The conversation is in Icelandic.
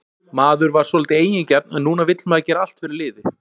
Maður var svolítið eigingjarn en núna vill maður gera allt fyrir liðið.